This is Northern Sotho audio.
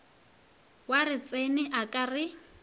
wa retšene a ka re